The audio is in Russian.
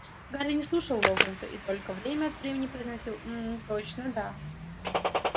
гарри не слушал локонса и только время от времени произносил мм точно да